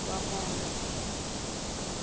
lwamondo